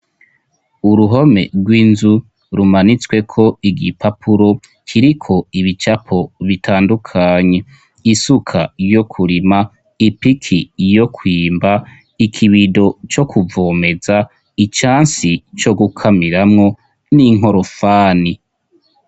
Uruhome rw'inzu rumanitsweko igipapuro kiriko ibicapo bitandukanye, isuka yo kurima, ipiki yo kwimba, ikibido co kuvomeza, icansi co gukamiramwo, n'inkorofani.